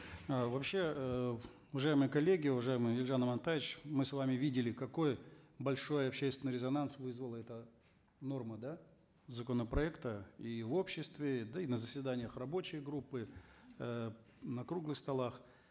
э вообще эээ уважаемые коллеги уважаемый елжан амантаевич мы с вами видели какой большой общественный резонанс вызвала эта норма да законопроекта и в обществе да и на заседаниях рабочей группы э на круглых столах